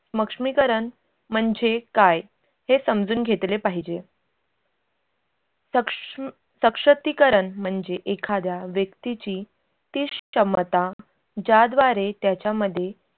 स्मक्ष्मीकरन म्हणजे काय हे समजून घेतले पाहिजे. साक्ष म् सशक्तीकरण म्हणजे एखाद्या व्यक्तीची ती क्षमता ज्याद्वारे त्याच्यामध्ये